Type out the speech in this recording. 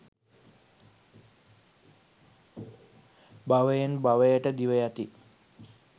භවයෙන් භවයට දිව යති.